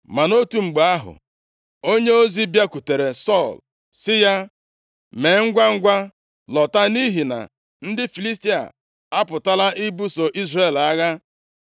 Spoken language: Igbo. Ma nʼotu mgbe ahụ, onyeozi bịakwutere Sọl sị ya, “Mee ngwangwa, lọta, nʼihi na ndị Filistia apụtala ibuso Izrel agha.”